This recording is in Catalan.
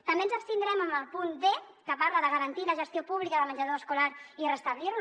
també ens abstindrem en el punt d que parla de garantir la gestió pública del menjador escolar i de restablir lo